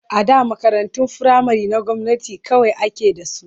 A da makarantun firamare na gwamnati kawai ake da su.